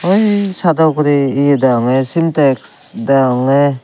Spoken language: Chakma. ui sado ugurey ye deyongey sintex deyongey.